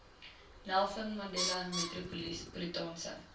nelson mandela metropolitaanse